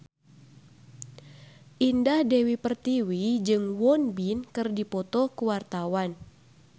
Indah Dewi Pertiwi jeung Won Bin keur dipoto ku wartawan